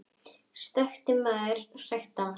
Stöku maður hrækti að honum.